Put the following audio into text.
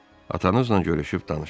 Atanızla görüşüb danışaram.